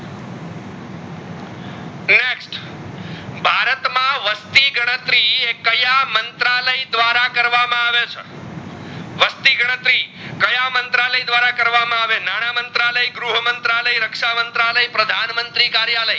વસ્તી ગણતરી કયા મંત્રાલય ધ્વારા કરવામાં આવે છે? વસ્તી ગણતરી કયા મંત્રાલય ધ્વારા કરવામાં આવે નાના મંત્રાલય, ગૃહ મંત્રાલય, રક્ષા મંત્રાલય, પ્રધાન મંત્રી કાર્યાલય